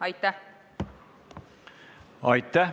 Aitäh!